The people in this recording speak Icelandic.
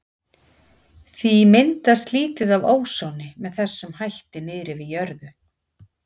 Því myndast lítið af ósoni með þessum hætti niðri við jörðu.